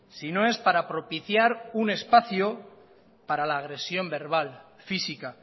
si no es para propiciar un espacio para la agresión verbal física